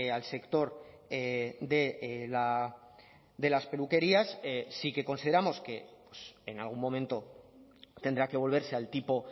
al sector de las peluquerías sí que consideramos que en algún momento tendrá que volverse al tipo